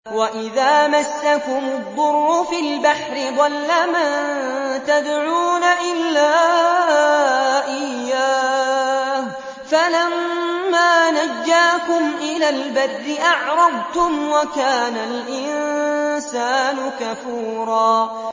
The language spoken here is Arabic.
وَإِذَا مَسَّكُمُ الضُّرُّ فِي الْبَحْرِ ضَلَّ مَن تَدْعُونَ إِلَّا إِيَّاهُ ۖ فَلَمَّا نَجَّاكُمْ إِلَى الْبَرِّ أَعْرَضْتُمْ ۚ وَكَانَ الْإِنسَانُ كَفُورًا